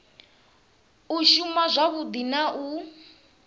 u shuma wavhudi na u